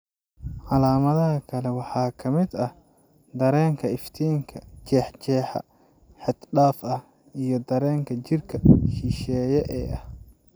Calaamadaha kale waxaa ka mid ah dareenka iftiinka, jeexjeexa xad-dhaaf ah, iyo dareenka jirka shisheeye ee isha.